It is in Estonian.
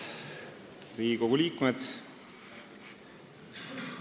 Head Riigikogu liikmed!